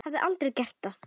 Hafði aldrei gert það.